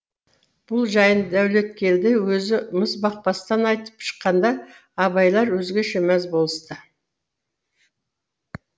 бұл жайын дәулеткелді өзі мізбақпастан айтып шыққанда абайлар өзгеше мәз болысты